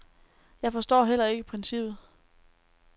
Jeg forstår heller ikke princippet.